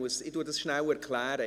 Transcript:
Ich erkläre Ihnen das kurz.